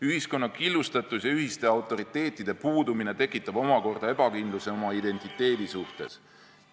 Ühiskonna killustatus ja ühiste autoriteetide puudumine tekitab omakorda ebakindluse oma identiteedi suhtes.